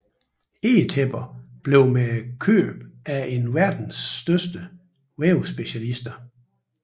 Egetæpper bliver med købet en af verdens største vævespecialister